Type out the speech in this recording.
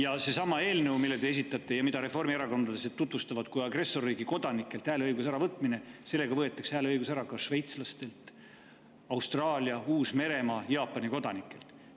Aga sellesama eelnõuga, mille te esitasite ja mida reformierakondlased tutvustavad kui agressorriigi kodanikelt hääleõiguse äravõtmise, võetakse hääleõigus ära ka šveitslastelt ning Austraalia, Uus-Meremaa ja Jaapani kodanikelt.